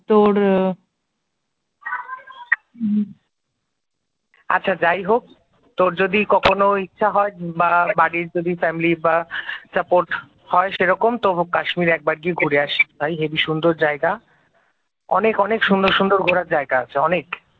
আচ্ছা যাই হোক, তোর যদি কখনো ইচ্ছা হয় বা বাড়ির যদি ফ্যামিলির বা, সাপোর্ট হয় সেরকম তো কাশ্মীরে একবার গিয়ে ঘুরে আসিস ভাই, হেবি সুন্দর জায়গা, অনেক অনেক সুন্দর সুন্দর ঘুরার জায়গা আছে অনেক